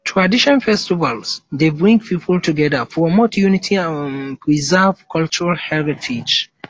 tradition festivals dey bring people together promote unity and preserve cultural heritage